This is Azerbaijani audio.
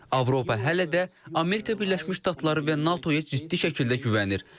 Avropa hələ də Amerika Birləşmiş Ştatları və NATO-ya ciddi şəkildə güvənir.